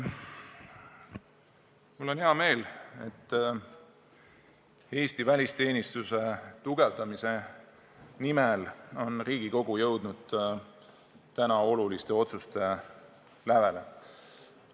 Mul on hea meel, et Eesti välisteenistuse tugevdamise nimel on Riigikogu jõudnud oluliste otsuste lävele.